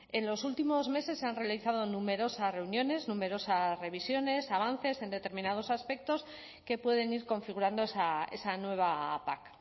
en los últimos meses se han realizado numerosas reuniones numerosas revisiones avances en determinados aspectos que pueden ir configurando esa nueva pac